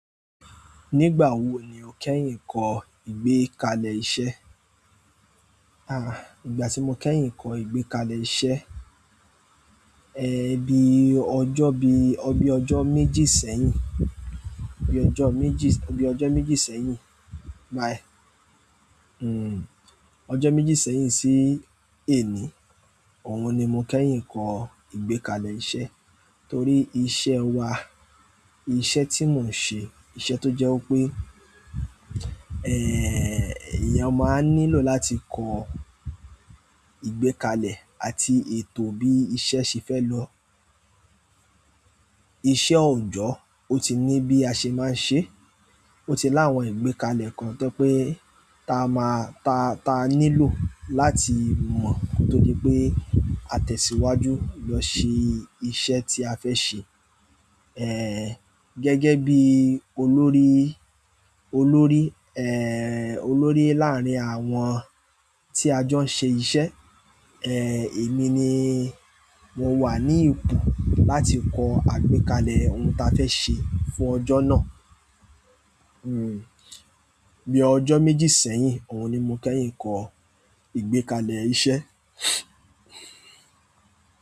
Nígbà wo ni o kẹ́yìn kọ́ ìgbékalẹ̀ iṣẹ́? À, ìgbà tí mo kẹ́yìn kọ ìgbékalẹ̀ iṣẹ́, ẹ́ bí ọjọ́ bí ọ bí ọjọ́ méjì sẹ́yìn, bí ọjọ́ méjì, bí ọjọ́ méjì sẹ́yìn, bá ẹ́, hm, ọjọ́ méjì sẹ́yìn sí èní, òhun ni mo kẹ́yìn kọ́ ìgbékalẹ̀ iṣẹ́. Torí iṣẹ́ wa, iṣẹ́ tí mò ń ṣe, iṣẹ́ tó jẹ́ wipé, ẹ́ẹ̀, eeyan máa nílò láti kọ ìgbékalẹ̀ àti ètò bí iṣẹ́ ṣe fẹ́ lọ. Iṣẹ́ oojọ́, ó ti ní bí a ṣe máa ń ṣe, ó ti láwọn ìgbékalẹ̀ kan tó jepé ta máa, ta ta nílò láti mọ́ torí pé a tẹ̀síwájú lọ ṣe iṣẹ́ tí a fẹ́ ṣe. Ẹ̀, gẹ́gẹ́ bí olórí, olórí, ẹ́ẹ̀, olórí láàárín àwọn tí a jọ ń ṣe iṣẹ́, ẹ́ẹ̀, èmi ni mo wà ní ipò láti kọ àgbékalẹ̀ ohun ta fẹ́ ṣe fún ọjọ́ náà. Hm, bí ọjọ́ méjì sẹ́yìn, òhun ni mo kẹ́yìn kọ ìgbékalẹ̀ iṣẹ́.